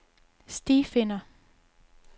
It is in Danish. stifinder